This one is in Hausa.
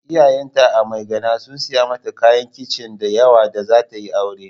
Iyayenta a Maigana sun saya mata kayan kicin da yawa da za ta yi aure.